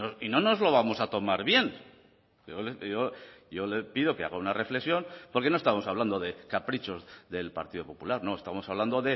y no nos lo vamos a tomar bien yo le pido que haga una reflexión porque no estamos hablando de caprichos del partido popular no estamos hablando